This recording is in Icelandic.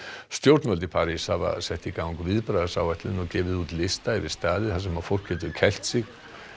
stjórnvöld í París hafa sett í gang viðbragðsáætlun og gefið út lista yfir staði þar sem fólk getur kælt sig